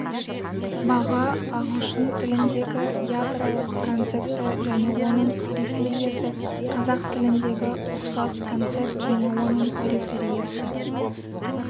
баға ағылшын тіліндегі ядролық концепті және оның перифериясы қазақ тіліндегі ұқсас концепт және оның перифериясы